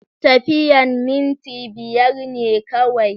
Tafiyan minti biyar ne kawai.